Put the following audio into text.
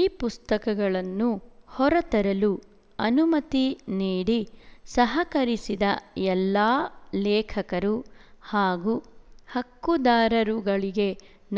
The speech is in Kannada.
ಈ ಪುಸ್ತಕಗಳನ್ನು ಹೊರತರಲು ಅನುಮತಿ ನೀಡಿ ಸಹಕರಿಸಿದ ಎಲ್ಲಾ ಲೇಖಕರು ಹಾಗೂ ಹಕ್ಕುದಾರರುಗಳಿಗೆ